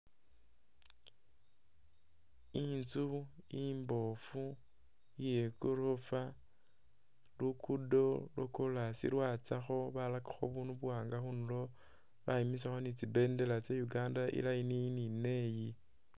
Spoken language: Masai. Inzu imboofu iye igorofa, luguudo lwa kolas lwatsakho barakakho bubundu buwaanga khunulo bayimisakho ni tsi bendela tsya Uganda i'line iyi ni neyi.